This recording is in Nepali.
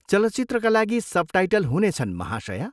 चलचित्रका लागि सबटाइटल हुनेछन्, महाशया।